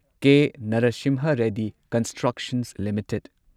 K. Narasimha Reddy constructions limited